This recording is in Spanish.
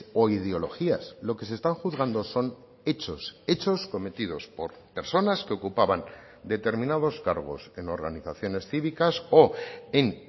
o ideologías lo que se están juzgando son hechos hechos cometidos por personas que ocupaban determinados cargos en organizaciones cívicas o en